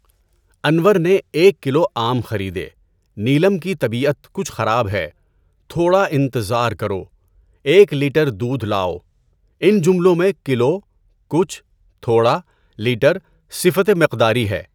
انور نے ایک کلو آم خریدے، نیلم کی طبیعت کچھ خراب ہے، تھوڑا انتظار کرو، ایک لٹر دودھ لائو۔ اِن جملوں میں کلو، کچھ، تھوڑا، لٹر صفت مقداری ہے۔